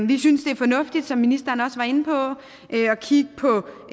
vi synes det er fornuftigt som ministeren også var inde på at kigge på